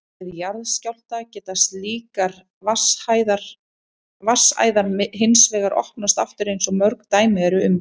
Við jarðskjálfta geta slíkar vatnsæðar hins vegar opnast aftur eins og mörg dæmi eru um.